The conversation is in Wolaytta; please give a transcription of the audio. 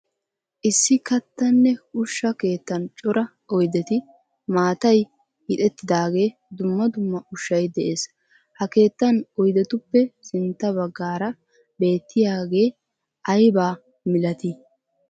Issi kattanne ushsha keettan cora oydeti, maatay hiixettidage, dumma dumma ushshay de'ees. Ha keettan oyddetuppe sintta baggaara beetiyage ayba milati?